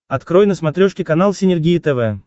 открой на смотрешке канал синергия тв